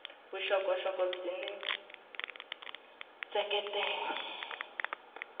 vuxokoxoko byin wana byi seketela